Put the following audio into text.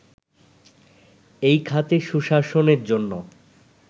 এই খাতে সুশাসনের জন্য